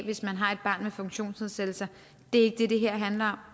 hvis man har et barn med funktionsnedsættelse det er ikke det det her handler